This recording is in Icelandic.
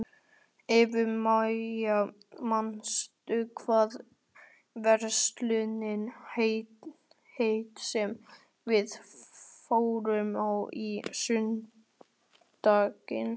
Eufemía, manstu hvað verslunin hét sem við fórum í á sunnudaginn?